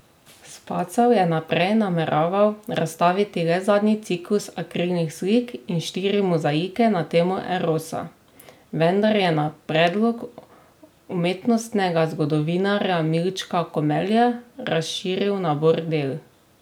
Spacal je naprej nameraval razstaviti le zadnji ciklus akrilnih slik in štiri mozaike na temo erosa, vendar je na predlog umetnostnega zgodovinarja Milčka Komelja razširil nabor del.